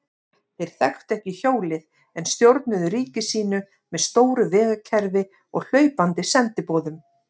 Þeir þekktu ekki hjólið en stjórnuðu ríki sínu með stóru vegakerfi og hlaupandi sendiboðum.